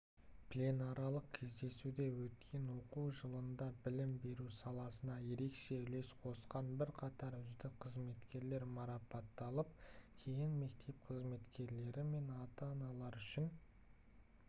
пленарлық кездесуде өткен оқу жылында білім беру саласына ерекше үлес қосқан бірқатар үздік қызметкерлер марапатталып кейін мектеп қызметкерлері мен ата-аналар үшін